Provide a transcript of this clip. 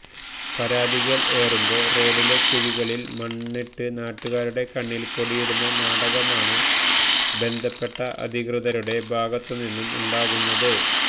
പരാതികൾ ഏറുമ്പോൾ റോഡിലെ കുഴികളിൽ മണ്ണിട്ട് നാട്ടുകാരുടെ കണ്ണിൽ പൊടിയിടുന്ന നാടകമാണ് ബന്ധപ്പെട്ട അധികൃതരുടെ ഭാഗത്തുന്നും ഉണ്ടാവുന്നത്